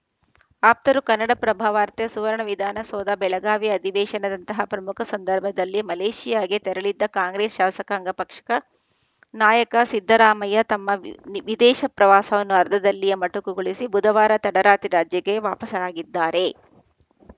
ಆಪ್ತರು ಕನ್ನಡಪ್ರಭ ವಾರ್ತೆ ಸುವರ್ಣ ವಿಧಾನಸೌಧ ಬೆಳಗಾವಿ ಅಧಿವೇಶನದಂತಹ ಪ್ರಮುಖ ಸಂದರ್ಭದಲ್ಲಿ ಮಲೇಷಿಯಾಗೆ ತೆರಳಿದ್ದ ಕಾಂಗ್ರೆಸ್‌ ಶಾಸಕಾಂಗ ಪಕ್ಷಕ ನಾಯಕ ಸಿದ್ದರಾಮಯ್ಯ ತಮ್ಮ ವಿ ವಿದೇಶ ಪ್ರವಾಸವನ್ನು ಅರ್ಧದಲ್ಲಿಯೇ ಮೊಟಕುಗೊಳಿಸಿ ಬುಧವಾರ ತಡರಾತ್ರಿ ರಾಜ್ಯಕ್ಕೆ ವಾಪಸಾಗಿದ್ದಾರೆ